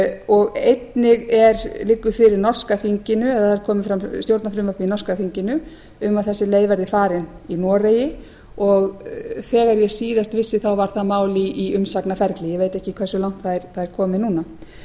og einnig liggur fyrir norska þinginu eða kom fram stjórnarfrumvarp í norska þinginu um að þessi leið verði farin í noregi og þegar ég síðast vissi þá var það mál í umsagnaferli ég veit ekki hversu langt það er komið núna